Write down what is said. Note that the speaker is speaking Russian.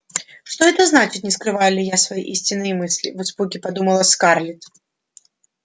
что это значит не скрываю ли я свои истинные мысли в испуге подумала скарлетт